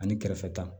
Ani kɛrɛfɛ ta